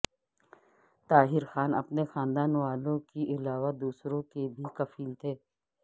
طاہر خان اپنے خاندان والوں کے علاوہ دوسروں کے بھی کفیل تھے